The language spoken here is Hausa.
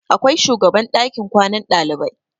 Akwai shugaban ɗakin kwanan ɗalibai.